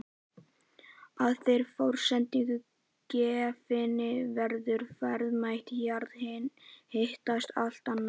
Að þeirri forsendu gefinni verður verðmæti jarðhitans allt annað.